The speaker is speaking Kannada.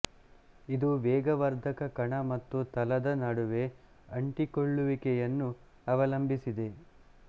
ಇದು ವೇಗವರ್ಧಕ ಕಣ ಮತ್ತು ತಲದ ನಡುವೆ ಅಂಟಿಕೊಳ್ಳುವಿಕೆಯನ್ನು ಅವಲಂಬಿಸಿದೆ